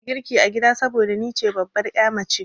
Ni nake girki a gida saboda ni ce babbar ya mace.